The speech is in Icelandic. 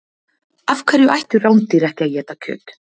af hverju ættu rándýr ekki að éta kjöt